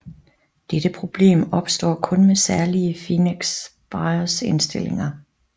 Dette problem opstår kun med særlige Phoenix BIOS indstillinger